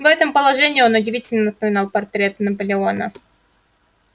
в этом положении он удивительно напоминал он портрет наполеона